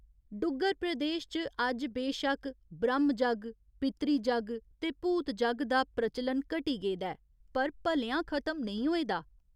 डुग्गर प्रदेश च अज्ज बेशक्क ब्रह्‌मजग्ग, पितृजग्ग ते भूतजग्ग दा प्रचलन घटी गेदा ऐ पर भलेआं खत्म नेईं होए दा।